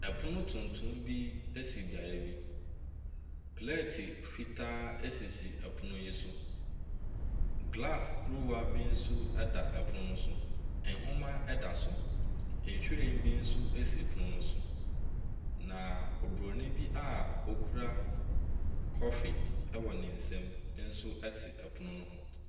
Ɛpono tutum bi si beaeɛ bi. Plɛte fitaa esisi pono yi so. Glass kuruwa nso da pono no so. Nwoma da so. Nwhiren bi nso si pono no so. Oburoni a okura kɔfe wɔ ne nsam nso te ɛpono ho.